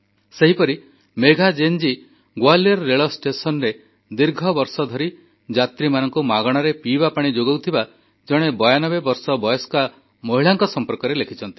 ସେହିପରି ମେଘା ଜୈନ୍ ଜୀ ଗ୍ୱାଲିୟର୍ ରେଳ ଷ୍ଟେସନରେ ଦୀର୍ଘବର୍ଷ ଧରି ଯାତ୍ରୀମାନଙ୍କୁ ମାଗଣାରେ ପିଇବା ପାଣି ଯୋଗାଉଥିବା ଜଣେ 92 ବର୍ଷ ବୟସ୍କା ମହିଳାଙ୍କ ସମ୍ପର୍କରେ ଲେଖିଛନ୍ତି